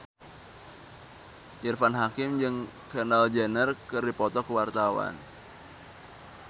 Irfan Hakim jeung Kendall Jenner keur dipoto ku wartawan